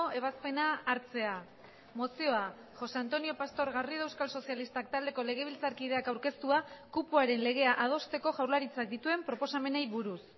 ebazpena hartzea mozioa josé antonio pastor garrido euskal sozialistak taldeko legebiltzarkideak aurkeztua kupoaren legea adosteko jaurlaritzak dituen proposamenei buruz